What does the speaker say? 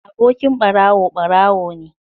Abokin ɓarawo ɓarawo ne